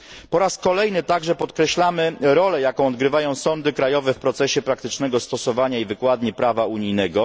Po raz kolejny także podkreślamy rolę, jaką odgrywają sądy krajowe w procesie praktycznego stosowania i wykładni prawa unijnego.